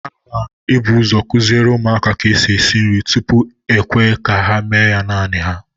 A n'ebuzo kụziere ụmụaka ka esi esi nri, tupu e kwee ka ha mee ya naanị ha